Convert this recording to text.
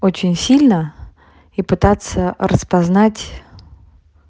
очень сильно и пытаться распознать